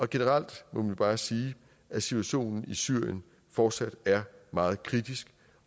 generelt må man bare sige at situationen i syrien fortsat er meget kritisk